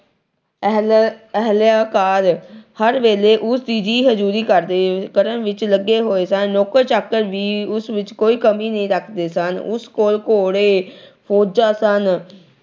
ਅਹਿ ਅਹ ਅਹਿਲਕਾਰ ਹਰ ਵੇਲੇ ਉਸ ਦੀ ਜੀ ਹਜੂਰੀ ਕਰਦੇ ਅਹ ਕਰਨ ਵਿੱਚ ਲੱਗੇ ਹੋਏ ਸਨ। ਨੌਕਰ-ਚਾਕਰ ਵੀ ਉਸ ਵਿੱਚ ਕੋਈ ਕਮੀ ਨਹੀਂ ਰੱਖਦੇ ਸਨ। ਉਸ ਕੋਲ ਘੋੜੇ, ਫੌਜਾਂ ਸਨ।